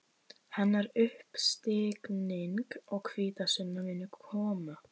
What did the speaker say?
Hennar uppstigning og hvítasunna munu koma.